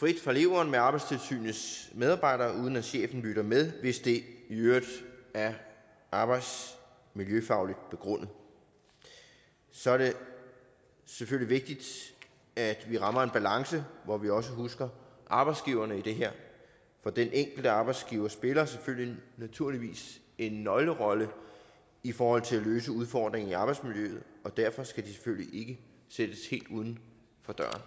frit fra leveren med arbejdstilsynets medarbejdere uden at chefen lytter med hvis det i øvrigt er arbejdsmiljøfagligt begrundet så er det selvfølgelig vigtigt at vi rammer en balance hvor vi også husker arbejdsgiverne i det her for de enkelte arbejdsgivere spiller selvfølgelig en nøglerolle i forhold til at løse udfordringen i arbejdsmiljøet og derfor skal de selvfølgelig ikke sættes helt uden for døren